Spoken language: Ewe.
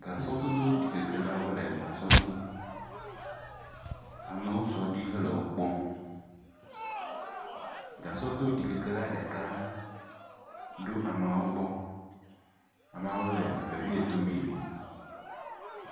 Gasɔdodoɖikekelawo le gasɔ dom, amewo sɔ ɖi hele wo kpɔm, gasɔdoɖikekela ɖeka ɖo ameawo gbɔ, ameawo le vevie dome.